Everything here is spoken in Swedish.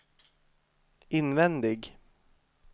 invändig